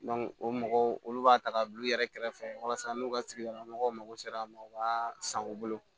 o mɔgɔw olu b'a ta ka bila u yɛrɛ kɛrɛfɛ walasa n'u ka sigi mɔgɔw mago sera a ma u b'a san u bolo